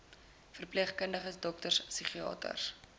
verpleegkundiges dokters psigiaters